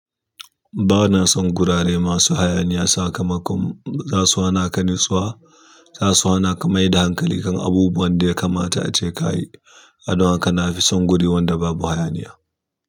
Ba na son gurare masu hayaniya, sa ka makon za su hana ka natsuwa, za su hana ka mai da hankali kan abubuwan da ya kamata ace ka yi don haka na fi son guri wanda babu hayaniya.